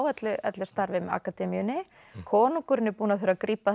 öllu starfi með akademíunni konungurinn er búinn að þurfa að grípa